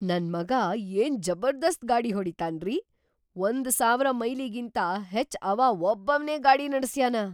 ನನ್‌ ಮಗಾ ಏನ್‌ ಜಬರ್ದಸ್ತ್ ಗಾಡಿ ಹೊಡಿತಾನ್ರೀ! ಒಂದು ಸಾವಿರ ಮೈಲಿಗಿಂತಾ ಹೆಚ್‌ ಅವಾ ವಬ್ಬವ್ನೇ ಗಾಡಿ ನಡಸ್ಯಾನ.